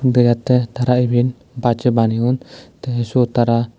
degette tara eben bachoi baneyon te suot tara.